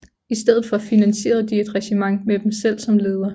I stedet for finansierede de et regiment med dem selv som leder